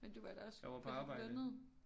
Men du var da også på dit lønnede